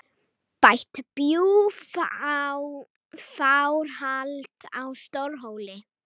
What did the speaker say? Bætt búfjárhald á Stórhóli